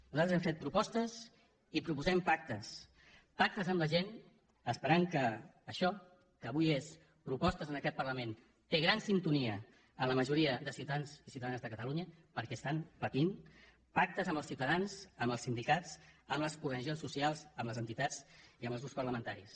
nosaltres hem fet propostes i proposem pactes pactes amb la gent esperant que això que avui són propostes en aquest parlament té gran sintonia en la majoria de ciutadans i ciutadanes de catalunya perquè estan patint pactes amb els ciutadans amb els sindicats amb les organitzacions socials amb les entitats i amb els grups parlamentaris